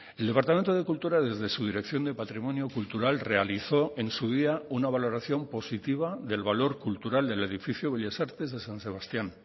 el departamento de cultura desde su dirección de patrimonio cultural realizó en su día una valoración positiva del valor cultural del edificio bellas artes de san sebastián